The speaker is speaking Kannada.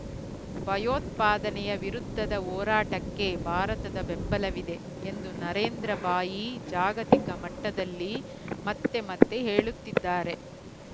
ಭಯೋತ್ಪಾದನೆಯ ವಿರುದ್ಧದ ಹೋರಾಟಕ್ಕೆ ಭಾರತದ ಬೆಂಬಲ ವಿದೆ ಎಂದು ನರೇಂದ್ರ ಭಾಯಿ ಜಾಗತಿಕ ಮಟ್ಟದಲ್ಲಿ ಮತ್ತೆ ಮತ್ತೆ ಹೇಳುತ್ತಿದ್ದಾರೆ